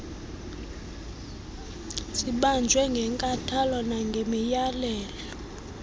zibanjwe ngenkathalo nangemiyalelo